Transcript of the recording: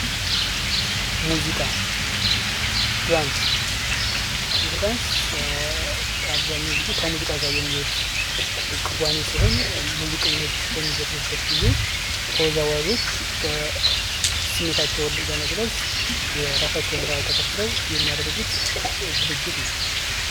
ሙዚቃ ዳንስ ይህ ዳንስ አብዛኛውን ጊዜ ከሙዚቃ ጋር የሚሄድ ክዋኔ ሲሆን ሙዚቀኞች በሚዘፍኑበት ጊዜ ተወዛዋዦች ስሜታቸውን ለመግለጽ የራሳቸውን ባህል ተከትለው የሚያደርጉት ድርጊት ነው።